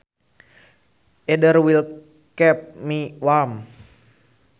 Either will keep me warm